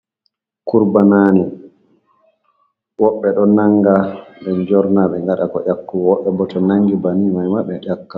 Kurbanani: Woɓɓe ɗo nanga ɓe jorna ɓe ngada ka ƴakkugo, woɓɓe bo to nangi banin mai ma ɓe ƴakka.